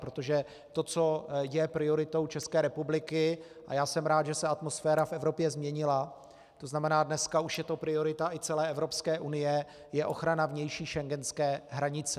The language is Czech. Protože to, co je prioritou České republiky, a já jsem rád, že se atmosféra v Evropě změnila, to znamená, dneska už je to priorita i celé Evropské unie, je ochrana vnější schengenské hranice.